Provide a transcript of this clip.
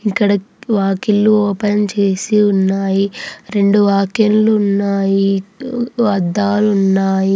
ఇక్కడ వాకిళ్లు ఓపెన్ చేసి ఉన్నాయి. రెండు వాకిళ్లు ఉన్నాయి. అద్దాలు ఉన్నాయి.